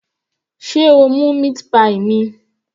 Sé o mú meat pie mi?